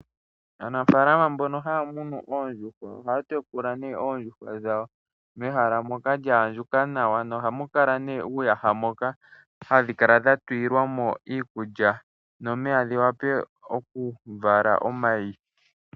Aanafaalama mbono haya munu oondjuhwa oha ya tekula nee oondjuhwa dhawo mehala moka lya andjuka nawa, nohamu kala nee uuyaha moka hadhi kala dha tulilwa mo iikulya nomeya, dhi wape oku vala omayi.